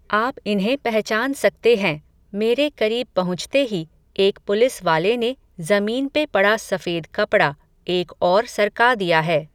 आप इन्हें पहचान सकते हैं, मेरे करीब पहुंचते ही, एक पुलिस वाले ने, ज़मीन पे पड़ा सफेद कपड़ा, एक और सरका दिया है